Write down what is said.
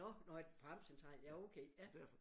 Nå nå på Amtscentralen ja okay ja